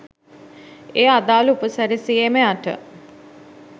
ඒ අදාළ උපසැරසියේම යට